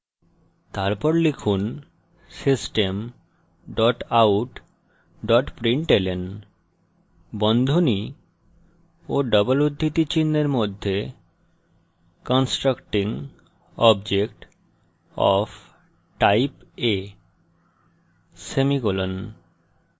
তারপর লিখুন system dot out dot println বন্ধনী ও ডবল উদ্ধৃতি চিনহের মধ্যে constructing object of type a semicolon